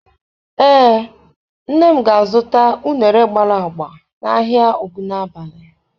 Ee, nne m ga-azụta uṅere gbara agba n'ahịa Ogunabali.